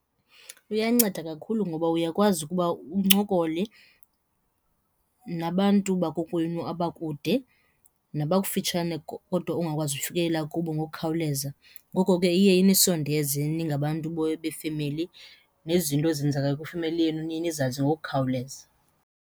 Luyanceda kakhulu ngoba uyakwazi ukuba uncokole nabantu bakokwenu abakude nabakufitshane kodwa ongakwazi ukufikelela kubo ngokukhawuleza. Ngoko ke iye inisondeze ningabantu befemeli nezinto ezenzeka kwifemeli yenu niye nizazi ngokukhawuleza.